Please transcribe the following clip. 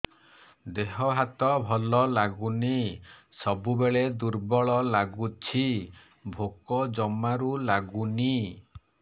ଦେହ ହାତ ଭଲ ଲାଗୁନି ସବୁବେଳେ ଦୁର୍ବଳ ଲାଗୁଛି ଭୋକ ଜମାରୁ ଲାଗୁନି